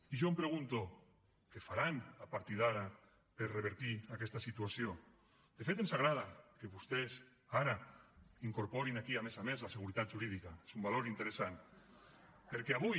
i jo em pregunto què faran a partir d’ara per revertir aquesta situació de fet ens agrada que vostès ara incorporin aquí a més a més la seguretat jurídica és un valor interessant perquè avui